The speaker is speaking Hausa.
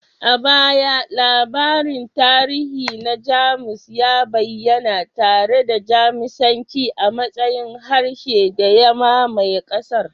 A baya, labarin tarihi na Jamus ya bayyana tare da Jamusanci a matsayin harshen da ya mamaye ƙasar